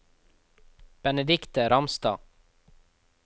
Benedikte Ramstad